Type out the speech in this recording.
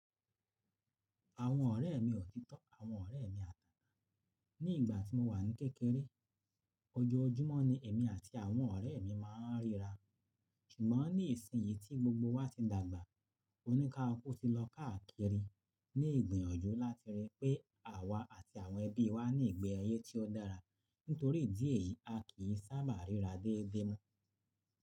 Àwọn ọ̀rẹ́ mi òtítọ́, àwọn ọ̀rẹ́ mi àná. Ní ìgbà tí mo wà ní kékeré, ọjọojúmọ́ ni èmi àti àwọn ọ̀rẹ́ mi máa ń ríra. Ṣùgbọ́n ní ìsìn yìí tí gbogbo wa ti dàgbà, oní kaluku ti lọ káàkiri ní ìgbìyànjú láti rí i pé àwa àti àwọn ẹbí wa ní ìgbé ayé tí ó dára. Nítorí ìdí èyí, a kì í sábà ríra déédé mọ́.